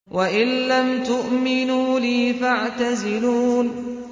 وَإِن لَّمْ تُؤْمِنُوا لِي فَاعْتَزِلُونِ